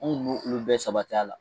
Anw no olu bɛɛ sabat'a la